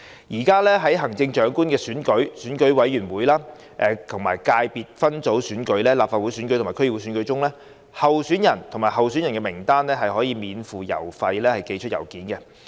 現時在行政長官選舉、選舉委員會界別分組選舉、立法會選舉及區議會選舉中，候選人或候選人名單可免付郵資寄出信件。